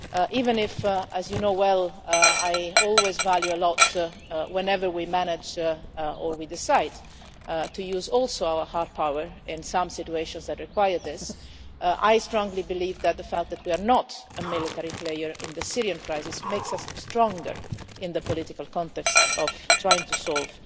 Even if, as you know well, I always value a lot whenever we manage or we decide to use also our hard power in some situations that require this, I strongly believe that the fact that we are not a military player in the Syrian crisis makes us stronger in the political context of trying to solve